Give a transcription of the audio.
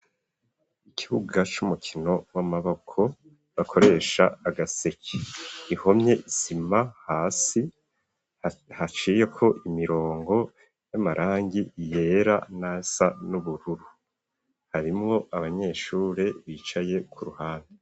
Ikibuga c'umukino w'amaboko, bakoresha agaseke, ihomye isima hasi haciyeko imirongo y'amarangi yera n'asa n'ubururu, harimwo abanyeshure bicaye ku ruhande.